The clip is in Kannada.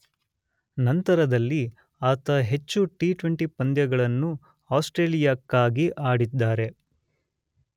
ನಂತರದಲ್ಲಿ ಆತ ಹೆಚ್ಚು ಟಿ20 ಪಂದ್ಯಗಳನ್ನು ಆಸ್ಟ್ರೇಲಿಯಕ್ಕಾಗಿ ಆಡಿದ್ದಾರೆ.